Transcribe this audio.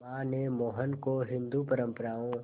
मां ने मोहन को हिंदू परंपराओं